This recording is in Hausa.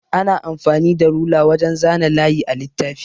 Ana amfani da rula wajan zana layi a littafi.